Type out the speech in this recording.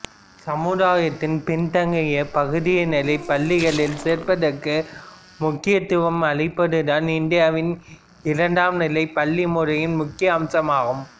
சமுதாயத்தின் பின்தங்கிய பகுதியினரை பள்ளிகளில் சேர்ப்பதற்கு முக்கியத்துவம் அளிப்பதுதான் இந்தியாவின் இரண்டாம் நிலை பள்ளி முறையின் முக்கிய அம்சமாகும்